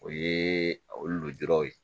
O ye olu jɔyɔrɔ ye